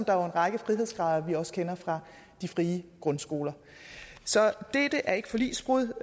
der er en række frihedsgrader som vi også kender fra de frie grundskoler så dette er ikke forligsbrud